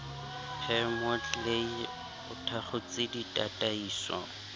par moodley o thakgotse ditataiso